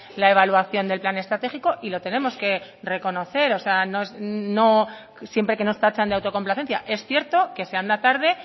la evaluación del plan estratégico y lo tenemos que reconocer siempre que nos tachan de autocomplacencia es cierto que se anda tarde